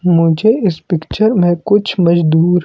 मुझे इस पिक्चर में कुछ मजदूर--